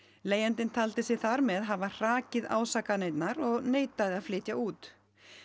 leigjandinn taldi sig þar með hafa hrakið ásakanirnar og neitaði að flytja út